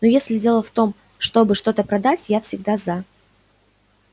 но если дело в том чтобы что-то продать я всегда за